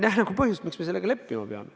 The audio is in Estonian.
Ma ei näe põhjust, miks me sellega leppima peame.